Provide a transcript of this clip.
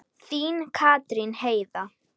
Þín, Katrín Heiða.